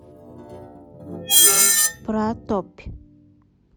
пра топь